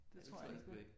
Ej, det tror jeg sgu ikke